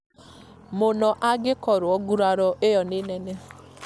mũno angĩkorwo nguraro ĩyo nĩ nene